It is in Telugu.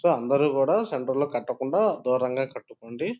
సో అందరూ కూడా సెంటర్ లో కట్టకుండా దూరం గ కట్టుకోండి.